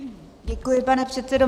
Děkuji pane předsedo.